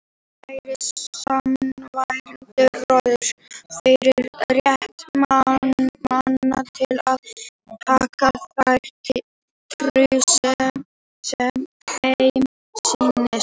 Hann færir sannfærandi rök fyrir rétti manna til að taka þá trú sem þeim sýnist.